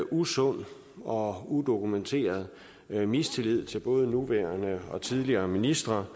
usund og udokumenteret mistillid til både nuværende og tidligere ministre